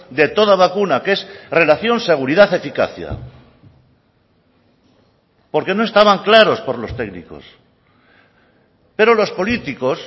de toda vacuna que es relación seguridad eficacia porque no estaban claros por los técnicos pero los políticos